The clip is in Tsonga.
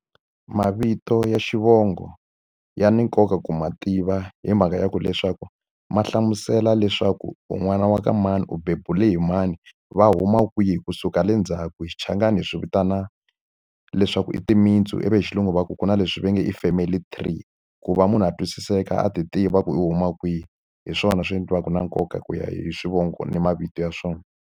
Mavito ya xivongo ya ni nkoka ku ma tiva hi mhaka ya ku leswaku, ma hlamusela leswaku u n'wana wa ka mani, u bebule hi mani, va huma kwihi kusuka le ndzhaku. Hi xichangani ni hi swi vitana leswaku i timintsu, ivi hi xilungu va ku ku na leswi va nge i family three. Ku va munhu a twisiseka a ti tiva ku u huma kwihi, hi swona swi endliwaka na nkoka hi ku ya hi swivongo ni mavito ya swona.